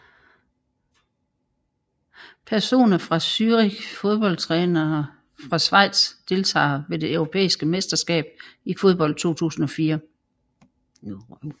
Personer fra Zürich Fodboldtrænere fra Schweiz Deltagere ved det europæiske mesterskab i fodbold 2004